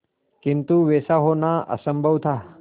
किंतु वैसा होना असंभव था